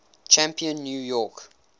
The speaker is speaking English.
champion new york